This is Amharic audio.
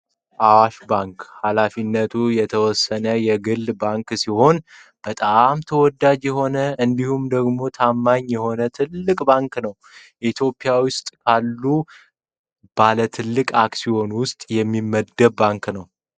አዋሽ ባንክ ሃላፊነቱ የተወሰነ የግል ባንክ ሲሆን በጣም ተወዳጅ የሆነ እንዲሁም ደግሞ ታማኝ የሆነ ትልቅ ባንክ ነው። ኢትዮጵያ ውስጥ አሉ ከሚባሉ ባለ ትልቅ አክሲዮኖች ውስጥም ይመደባል።